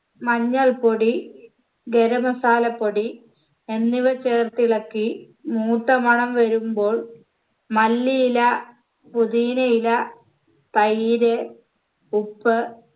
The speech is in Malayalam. മഞ്ഞൾപൊടി ഗരം masala പൊടി എന്നിവ ചേർത്തിളക്കി മൂത്ത മണം വരുമ്പോൾ മല്ലിയില പൊതീനയില തൈര് ഉപ്പ്